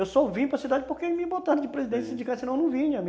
Eu só vim para cidade porque me botaram de presidente de sindicato, senão eu não vinha.